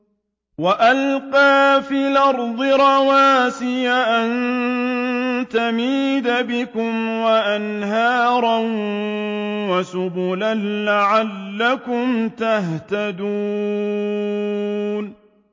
وَأَلْقَىٰ فِي الْأَرْضِ رَوَاسِيَ أَن تَمِيدَ بِكُمْ وَأَنْهَارًا وَسُبُلًا لَّعَلَّكُمْ تَهْتَدُونَ